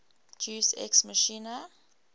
deus ex machina